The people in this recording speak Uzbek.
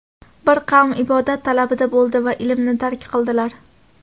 Bir qavm ibodat talabida bo‘ldi va ilmni tark qildilar.